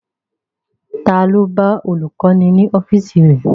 Ta ló lọ bá olùkọ́ni ní ọ́fíìsì rẹ̀?